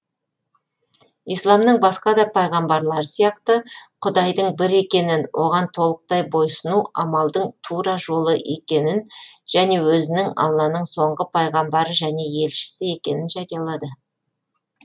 исламның басқа да пайғамбарлары сияқты құдайдың бір екенін оған толықтай бойсұну амалдың тура жолы екенін және өзінің алланың соңғы пайғамбары және елшісі екенін жариялады